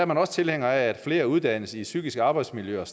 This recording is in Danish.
man tilhænger af at flere uddannes i psykisk arbejdsmiljø og